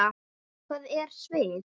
Hvað er svið?